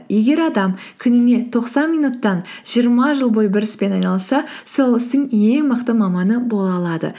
егер адам күніне тоқсан минуттан жиырма жыл бойы бір іспен айналысса сол істің ең мықты маманы бола алады